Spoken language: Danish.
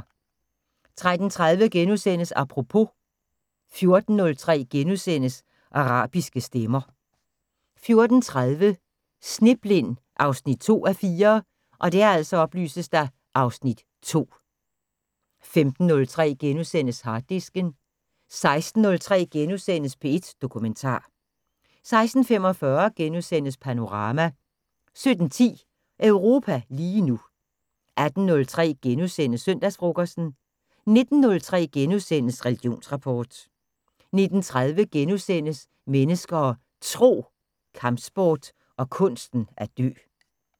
13:30: Apropos * 14:03: Arabiske stemmer * 14:30: Sneblind 2:4 (Afs. 2) 15:03: Harddisken * 16:03: P1 Dokumentar * 16:45: Panorama * 17:10: Europa lige nu 18:03: Søndagsfrokosten * 19:03: Religionsrapport * 19:30: Mennesker og Tro: Kampsport og kunsten at dø *